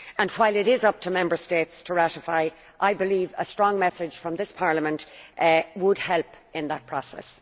While it is up to Member States to ratify, I believe a strong message from this Parliament would help in that process.